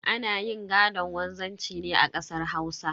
Ana yin gaɗon wanzanci ne a kasar Hausa.